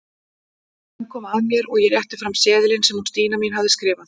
Senn kom að mér og ég rétti fram seðilinn sem hún Stína mín hafði skrifað.